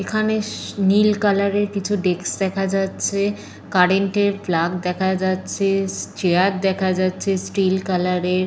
এইখানে নীল -এর কিছু ডেস্ক দেখা যাচ্ছে। কারেন্ট -এর প্লাগ দেখা যাচ্ছে। চেয়ার দেখা যাচ্ছে স্টিল কালার -এর।